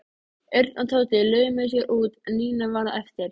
Örn og Tóti laumuðu sér út en Nína varð eftir.